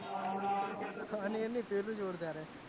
આની પેલું જોરદાર છે